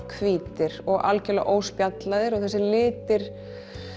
hvítir og óspjallaðir og þessir litir